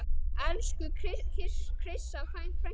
Elsku Krissa frænka.